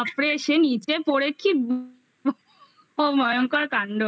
glycerine ওরে বাপরে সে নিচে পড়ে কি ভয়ঙ্কর কাণ্ড